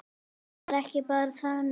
Hann var ekki bara þarna.